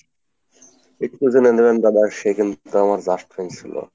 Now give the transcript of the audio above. এইটুকু জেনে নিবেন দাদা সে কিন্তু আমার just friend ছিল।